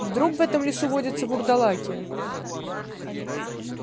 вдруг в этом лесу водятся вурдалаки